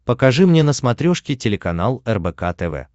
покажи мне на смотрешке телеканал рбк тв